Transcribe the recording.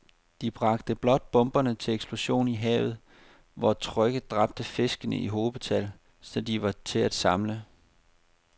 De bragte blot bomberne til eksplosion i havet, hvor trykket dræbte fiskene i hobetal, så de var til at samle